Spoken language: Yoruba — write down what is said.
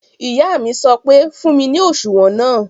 Ìyá mi sọ pé "fún mi ní òṣùwọ̀n náà!"